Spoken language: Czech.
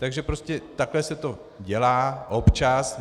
Takže prostě takhle se to dělá občas.